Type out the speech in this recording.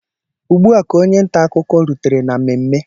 Ugbua ka onye ntaakụkọ rutere na mmemme